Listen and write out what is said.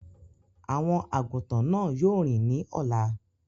Àwọn àgùntàn náà yóò rìn ní ọ̀la.